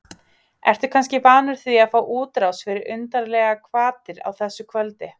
Ertu kannski vanur því að fá útrás fyrir undarlegar hvatir á þessu kvöldi?